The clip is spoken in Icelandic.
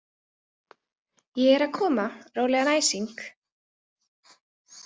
Ég er að koma, rólegan æsing